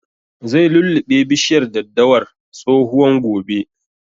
Zai lulluɓe bishiyar daddawar tsohuwan gobe